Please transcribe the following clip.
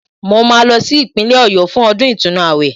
Mo máa lọ sí Ìpínlẹ̀ Ọ̀yọ́ fún ọdún ìtúnu àwẹ̀